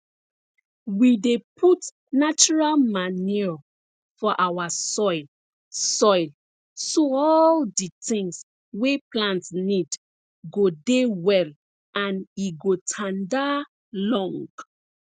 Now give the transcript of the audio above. we dey put natural manure for our soil soil so all di things wey plant need go dey well and e go tanda long